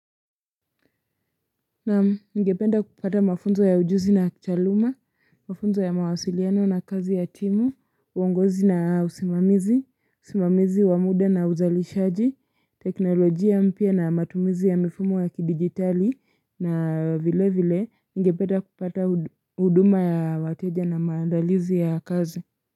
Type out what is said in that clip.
Naam ngependa kupata mafunzo ya ujuzi na kitaaluma, mafunzo ya mawasiliano na kazi ya timu, uongozi na usimamizi, usimamizi wa muda na uzalishaji, teknolojia mpya na matumizi ya mifumo ya kidigitali na vile vile nigependa kupata huduma ya wateja na maandalizi ya kazi.